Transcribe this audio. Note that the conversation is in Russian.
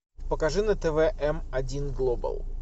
покажи на тв м один глобал